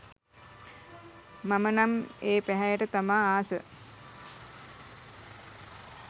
මම නම් ඒ පැහැයට තමා ආස